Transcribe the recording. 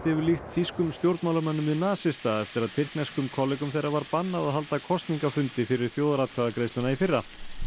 hefur líkt þýskum stjórnmálamönnum við nasista eftir að tyrkneskum kollegum þeirra var bannað að halda kosningafundi fyrir þjóðaratkvæðagreiðsluna í fyrra